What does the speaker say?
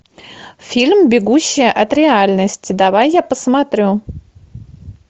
фильм бегущая от реальности давай я посмотрю